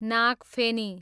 नागफेनी